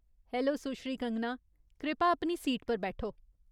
Hello, सुश्री कंगना ! कृपा अपनी सीट पर बैठो।